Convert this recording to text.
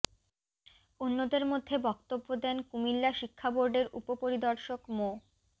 অন্যদের মধ্যে বক্তব্য দেন কুমিল্লা শিক্ষা বোর্ডের উপপরিদর্শক মো